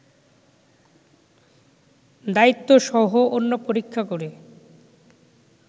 দায়িত্বসহ অন্য পরীক্ষা করে